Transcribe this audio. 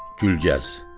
Gülgəz.